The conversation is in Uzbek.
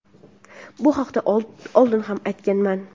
bu haqda oldin ham aytganman.